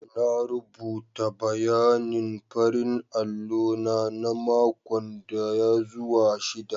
Na rubuta bayanin farin allo na na makon daya zuwa shida.